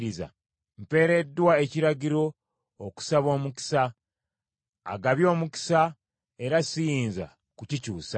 Mpeereddwa ekiragiro okusaba omukisa; agabye omukisa, era siyinza kukikyusa.